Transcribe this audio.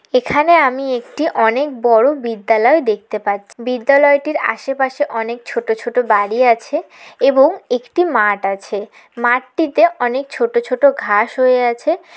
এখানে আমি একটি অনেক বড় বিদ্যালয় দেখতে পাচ্ছ বিদ্যালয়টির আশেপাশে অনেক ছোট ছোট বাড়ি আছে এবং একটি মাঠ আছে। মাটিতে অনেক ছোট ছোট ঘাস হয়ে আছে।